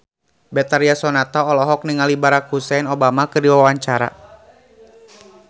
Betharia Sonata olohok ningali Barack Hussein Obama keur diwawancara